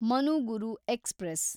Manuguru express